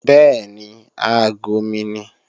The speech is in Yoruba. Bẹ́ẹ̀ni, aago mi ni